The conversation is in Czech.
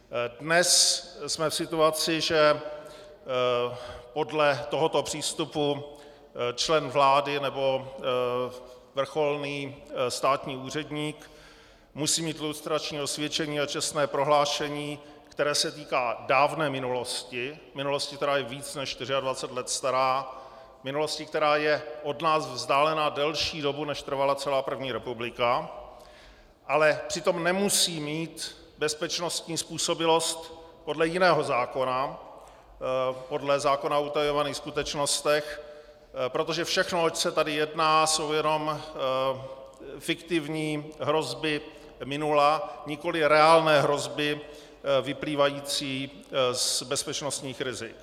Dnes jsme v situaci, že podle tohoto přístupu člen vlády nebo vrcholný státní úředník musí mít lustrační osvědčení a čestné prohlášení, které se týká dávné minulosti, minulosti, která je více než 24 let stará, minulosti, která je od nás vzdálena delší dobu, než trvala celá první republika, ale přitom nemusí mít bezpečnostní způsobilost podle jiného zákona, podle zákona o utajovaných skutečnostech, protože všechno, oč se tady jedná, jsou jenom fiktivní hrozby minula, nikoliv reálné hrozby vyplývající z bezpečnostních rizik.